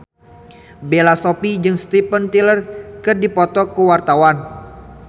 Bella Shofie jeung Steven Tyler keur dipoto ku wartawan